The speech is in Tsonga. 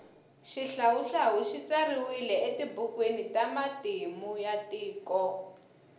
shihlawuhlawu shitsariwile etibhukuwini tamatimu yatiko